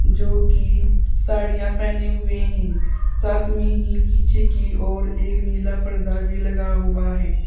जो की साड़ियां पहने हुए हैं साथ में ही पीछे की ओर एक नीला पर्दा भी लगा हुआ है।